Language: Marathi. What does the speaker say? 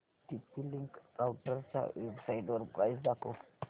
टीपी लिंक राउटरच्या वेबसाइटवर प्राइस दाखव